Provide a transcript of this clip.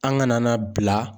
An kana na bila